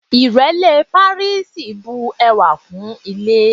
Ìrẹ́lé pàríìsì bu ẹwà kún ilé.